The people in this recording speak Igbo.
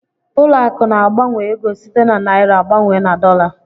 Ụlọ akụ̀ na-agbanwe ego site na naịra gbanwee na dọla.